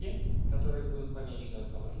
которые будут помечены